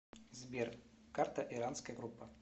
сбер карта иранская группа